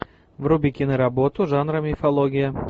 вруби киноработу жанра мифология